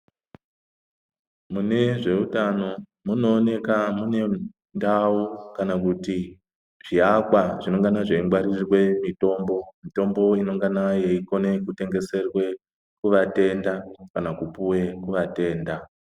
Mune zveutano munooneka mune ndau kana kuti zviakwa zvinengana zveingwarire mitombo. Mitombo inengana yeikone kutengeserwe kuvatenda kana kupuwe kuvatenda.